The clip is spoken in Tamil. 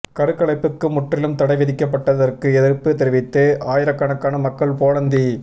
கருக்கலைப்புக்கு முற்றிலும் தடை விதிக்கப்பட்டதற்கு எதிர்ப்பு தெரிவித்து ஆயிரக்கணக்கான மக்கள் போலந்தி